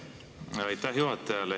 Aitäh juhatajale!